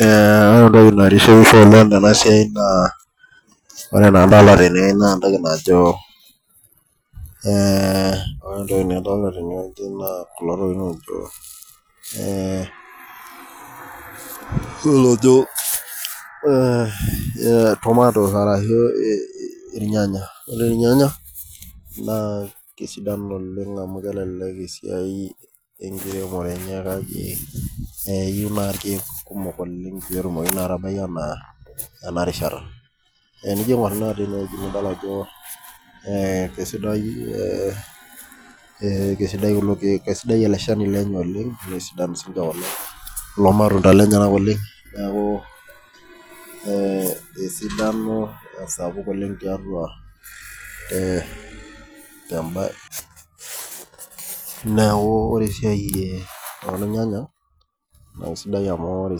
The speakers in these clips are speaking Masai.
Ee ore entoki naitishipisho tenasiai na ore emadolta tene na entoki najo ore entoki nadolita tenewueji na kulo tokitin ojo tomatoes ashu irnyanya ore irnyanya na kesidan oleng amu kelelek esiai enkiremore enye kake eyieu si irkumok oleng petumoki atabai ana enarishata tenijo aingor tenewueji nidol ajo ekesidai kulo kiek, ekesidan ele shani oleng naasidan kulo matunda neaku ee esidano esapukboleng tiatua neakubore esiai ornyanya na ore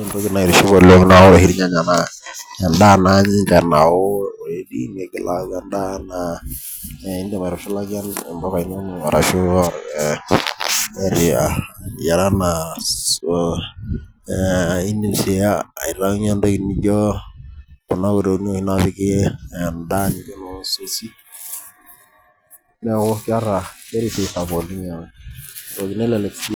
Entoki naitiship oleng na oreoshi irnyanya na endaa ninye nao nigil aaku endaa na intushulaki mpuka inonok ore aitaunye entoki nijo kunatokitin napiki endaa neaku keeta esiai sapuk oleng nelelek sii.